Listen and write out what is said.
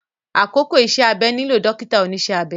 Àkókò iṣẹ́-abẹ nílò dọ́kítà oníṣẹ́ abẹ